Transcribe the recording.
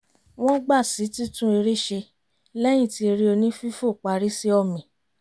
wọ́n gbà sí titún eré ṣe lẹ́yìn tí eré onífífo parí sí ọ̀mì